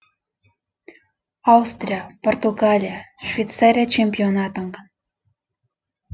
аустрия португалия швейцария чемпионы атанған